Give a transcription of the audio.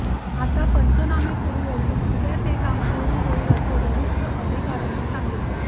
आता पंचनामे सुरु असुन उद्या ते काम पुर्ण होईल असे वरिष्ठ अधिकाऱ्यांनी सांगितले